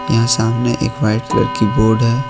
यह सामने एक वाइट कलर की बोर्ड है।